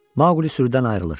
Maqlı sürüdən ayrılır.